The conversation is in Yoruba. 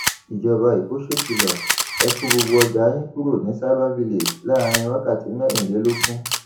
ìjọba ẹkọ ṣèkìlọ ẹ kó gbogbo ọjà yín kúrò ní cs] cyber village láàrin wákàtí mẹrìnlélógún